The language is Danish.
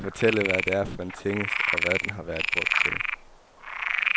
Kan du fortælle, hvad det er for en tingest, og hvad den har været brugt til?